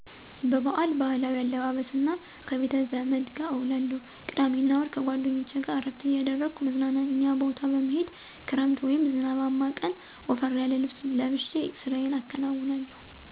በበአል ባህላዊ አለባበስ እና ከ ቤተዘመድ ጋር እዉላለሁ ቅዳሜ እና እሁድ ከጓደኞቼ ጋር እረፍት እያደረኩ መዝናኛ ቦታ በመሄድ ክረምት ወይም ዝናባማ ቀን ወፈር ያለ ልብስ ለብሼ ስራየን አከናዉናለሁ።